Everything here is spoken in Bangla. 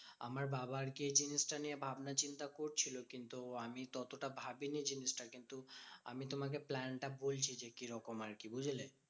আমার বাবা আরকি এই জিনিসটা নিয়ে ভাবনাচিন্তা করছিলো। কিন্তু আমি ততটা ভাবিনি জিনিসটা। কিন্তু আমি তোমাকে plan টা বলছি যে কি রকম আরকি বুঝলে?